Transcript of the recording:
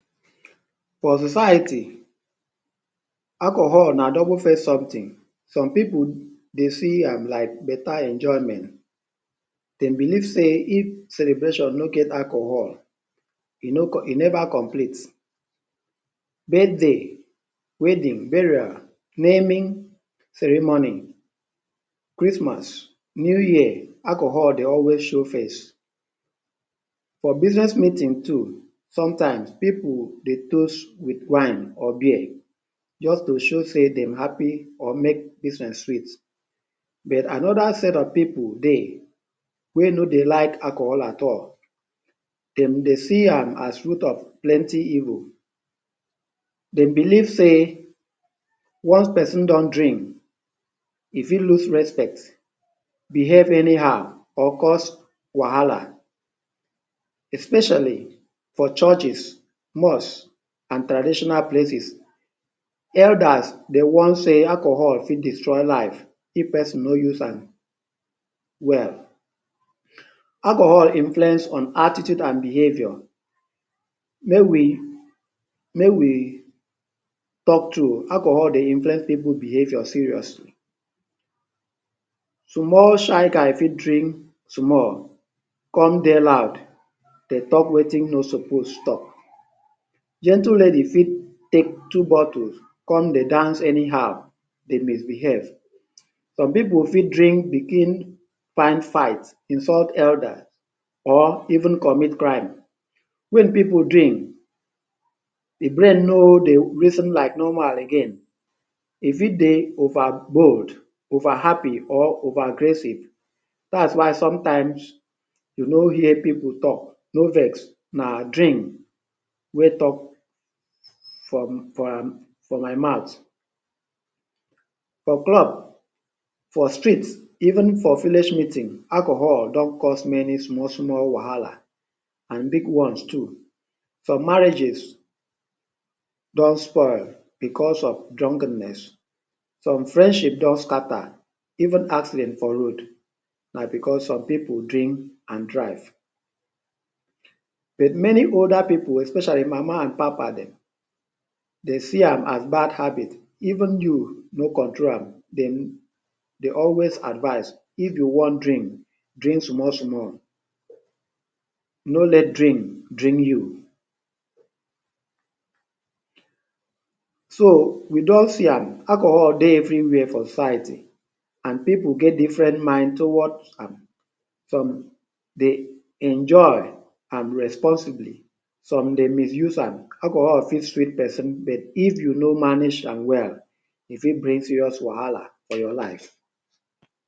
For society, alcohol na double face something. Some pipu dey see am like better enjoyment. They belief sey if celebration no get alcohol, e no e never complete. Birthday, wedding, burial, naming ceremony, Christmas, New Year, alcohol dey always show face. For business meeting too, sometimes people dey toast with wine or beer just to show sey dem happy or make business sweet. But another set of people dey, wey no dey like alcohol at all. De dey see am as root of plenty evil. They belief sey, when pesin don drink, e fit lose respect, behave anyhow or cause wahala. Especially for churches, mosques, and traditional places, Elders dey warn say alcohol fit destroy life if pesin no use am well. Alcohol influence on attitude and behaviour. May we may we talk true, alcohol dey influence pipu behaviour seriously. Small shy guy fit drink small con dey loud dey talk wetin e no suppose talk. Gentle lady fit take two bottles con dey dance anyhow, dey misbehave. Some pipu fit drink begin find fight, insult elder or even commit crime. When pipu drink, the brain no dey reason like normal again. E fit dey overboard, over happy, or over aggressive, dats why sometimes you no here pipu talk, no vex, nah, drink wee talk for um for my mouth. For club, for streets, even for village meeting, alcohol don cause many small small wahala and big ones too. Some marriages don spoil because of drunkenness. Some friendship don scatter, even accident for road, na because some pipu drink and drive. With many older pipu, especially mama and papa dem, they see am as bad habit. Even you no control am, de they always advise, if you wan drink, drink small small. No let drink, drink you. So we don see am, alcohol dey everywhere for society and pipu get different mind towards am. Some dey enjoy am and responsibly, some dey misuse and alcohol fit sweet pesin, but if you no manage am well, e fit bring serious wahala for your life.